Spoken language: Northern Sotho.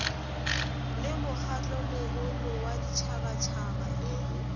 le mokgatlomogolo wa ditšhabatšhaba e